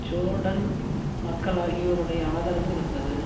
Jordan மக்கள் ஆகியோருடைய ஆதரவு இருந்தது